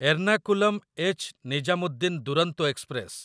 Ernakulam ଏଚ୍‌.ନିଜାମୁଦ୍ଦିନ Duronto express